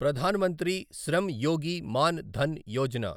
Pradhan Mantri Shram Yogi Maan Dhan Yojana